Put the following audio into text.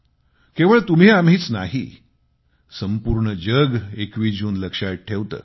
केवळ तुम्ही आम्हीच नाही संपूर्ण जग 21 जून लक्षात ठेवते